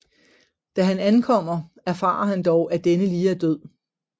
Da han ankommer erfarer han dog at denne lige er død